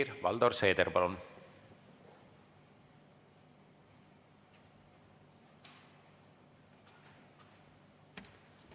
Helir-Valdor Seeder, palun!